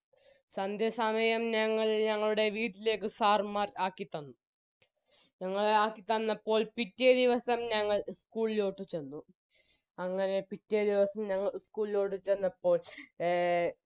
സന്ധ്യസമയം ഞങ്ങൾ ഞങ്ങളുടെ വീട്ടിലേക്കു sir മ്മാർ ആക്കി തന്നു ഞങ്ങൾ ആക്കിത്തന്നപ്പോൾ പിറ്റേ ദിവസം ഞങ്ങൾ ഉ school ലോട്ട് ചെന്നു അങ്ങനെ പിറ്റേ ദിവസം ഞങ്ങൾ ഉ school ലോട്ട് ചെന്നപ്പോൾ എ